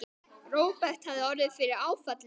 Róbert hafði orðið fyrir áfalli.